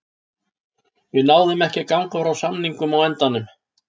Við náðum ekki að ganga frá samningum á endanum.